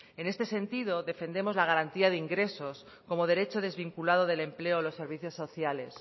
en este sentido defendemos la garantía de ingresos como derecho desvinculado del empleo los servicios sociales